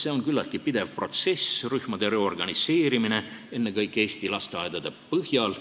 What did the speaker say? See on küllaltki pidev protsess, rühmade reorganiseerimine ennekõike eesti lasteaedade põhjal.